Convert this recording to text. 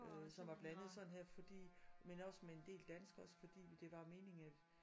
Øh som var blandet sådan her fordi men også med en del danskere også fordi det var meningen at